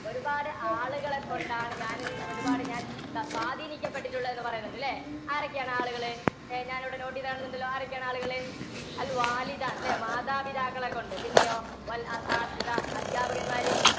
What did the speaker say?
ഒരുപാട് ആളുകളെക്കൊണ്ടാണ് ഞാനും~ ഒരുപാട് ഞാന്‍ സ~ സ്വാധീനിക്കപ്പെട്ടിട്ടുള്ളതെന്നു പറയുന്നുണ്ട് ല്ലേ? ആരൊക്കെയാണ് ആ ആളുകള്? ഏർ ഞാനിവിടെ note ഈതു കാണുന്നുണ്ടല്ലോ, ആരൊക്കെയാണ് ആളുകള് ആണ്, ല്ലേ? മാതാപിതാക്കളെക്കൊണ്ട് പിന്നെയോ അധ്യാപകന്മാര്